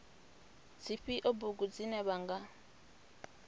dzifhio bugu dzine vha nga